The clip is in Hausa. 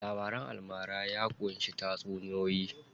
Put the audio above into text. Labaran almara ya ƙunshi tatsuniyoyi.